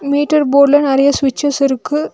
Metre போர்ட்ல நெறைய சுவிட்சஸ் இருக்கு.